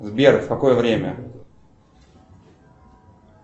сбер в какое время